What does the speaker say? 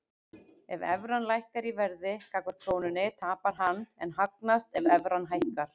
Ef evran lækkar í verði gagnvart krónunni tapar hann en hagnast ef evran hækkar.